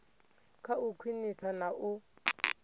kha u khwinisa na u